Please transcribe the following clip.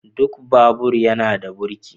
Duk babur yana da burki.